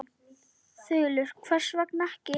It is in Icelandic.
Þulur: Hvers vegna ekki?